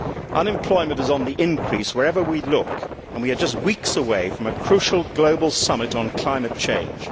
Unemployment is on the increase wherever we look, and we are just weeks away from a crucial global summit on climate change.